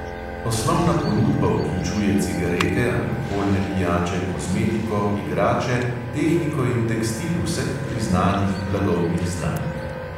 Osnovna ponudba vključuje cigarete, alkoholne pijače, kozmetiko, igrače, tehniko in tekstil vseh priznanih blagovnih znamk.